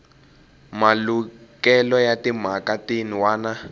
malukelo ya timhaka tin wana